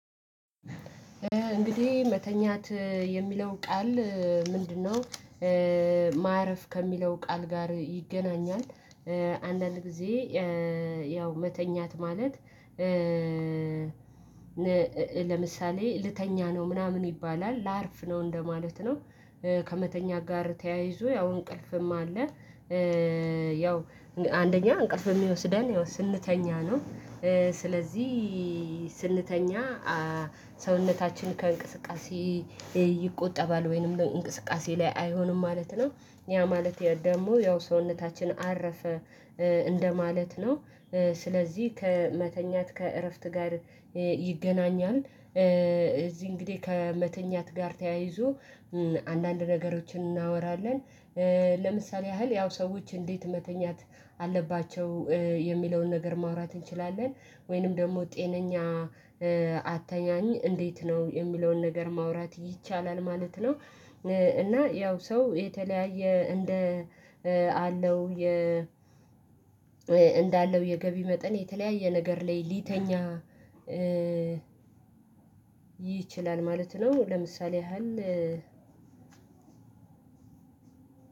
እንግዲህ መተኛት የሚለው ቃል ምንድነው? ማረፍ ከሚለው ቃል ጋር ይገናኛል። አንዳንድ ጊዜ ያው መተኛት ማለት ለምሳሌ ልተኛ ነው ምናምን ይባላል ላርፍ ነው እንደማለት ነው። ከመተኛ ጋር ተያይዞ ያው እንቅልፍም አለ። ያው አንደኛ እንቅልፍ የሚወስደን ስንተኛ ነው። ስለዚህ ስንተኛ ሰውነታችን ከእንቅስቃሴ ይቆጠባል ወይንም እንቅስቃሴ ላይ አይሆንም ማለት ነው ያ ማለት ደግሞ ያው ሰውነታችን አረፈ እንደማለት ነው። ስለዚህ ከመተኛት ከእረፍት ጋር ይገናኛል እዚህ እንግዲህ ከመተኛት ጋር ተያይዞ አንዳንድ ነገሮችን እናወራለን። ለምሳሌ ያህል ያው ሰዎች እንዴት መተኛት አለባቸው የሚለውን ነገር ማውራት እንችላለን። ወይንም ደግሞ ጤነኛ አትተኛኝ እንዴት ነው የሚለውን ነገር ማውራት ይቻላል ማለት ነው። እና ያው ሰው የተለያየ እንደ አለው እንዳለው የገቢ መጠን የተለያየ ነገር ላይ ሊተኛ ይችላል ማለት ነው። ለምሳሌ ያህል